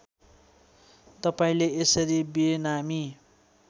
तपाईँले यसरी बेनामी